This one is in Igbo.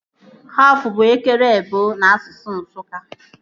Haf bụ ekere ebọ n'asụsụ Nsụka